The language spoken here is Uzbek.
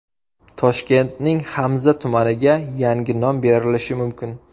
Toshkentning Hamza tumaniga yangi nom berilishi mumkin.